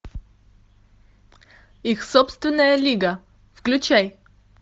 их собственная лига включай